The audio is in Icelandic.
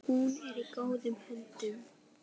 Hún er í góðum höndum.